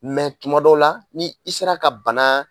Mɛ tuma dɔw la ni i sera ka bana